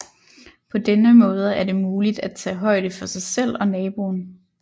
På denne måde er det muligt at tage højde for sig selv og naboen